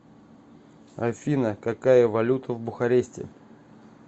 афина какая валюта в бухаресте